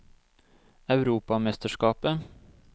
europamesterskapet